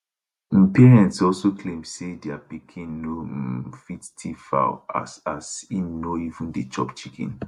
im parents also claim say dia pikin no um fit tiff fowl as as e no even dey chop chicken